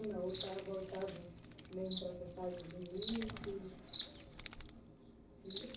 Ou tá voltado mesmo para essa fase de Vinícius